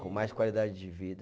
Com mais qualidade de vida.